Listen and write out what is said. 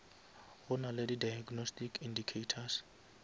go nale di diagnostic indicators